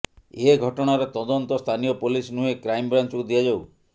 ଏ ଘଟଣାର ତଦନ୍ତ ସ୍ଥାନୀୟ ପୋଲିସ ନୁହେଁ କ୍ରାଇମ୍ବ୍ରାଞ୍ଚକୁ ଦିଆଯାଉ